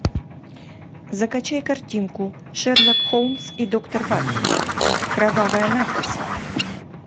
закачай картинку шерлок холмс и доктор ватсон кровавая надпись